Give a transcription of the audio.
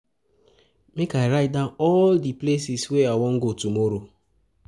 Make I write down all di places wey I wan go tomorrow.